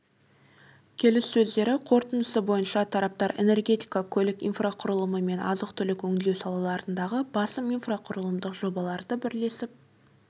келіссөздері қорытындысы бойынша тараптар энергетика көлік инфрақұрылымы мен азық-түлікті өңдеу салаларындағы басым инфрақұрылымдық жобаларды бірлесіп